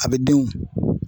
A bɛ den o .